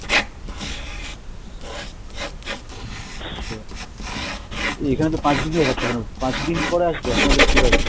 এই এখানে তো পাঁচদিন দেখাচ্ছে এখনো, পাঁচদিন পরে আসবে আপনাদের product?